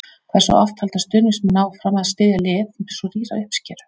Hversu oft halda stuðningsmenn áfram að styðja lið með svo rýra uppskeru?